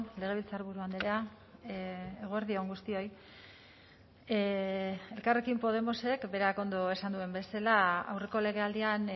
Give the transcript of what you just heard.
legebiltzarburu andrea eguerdi on guztioi elkarrekin podemosek berak ondo esan duen bezala aurreko legealdian